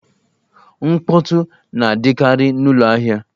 Mkpọtụ na-adịkari n'ụlọ ahịa